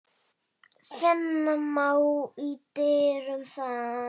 Finna má í dyrum þann.